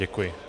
Děkuji.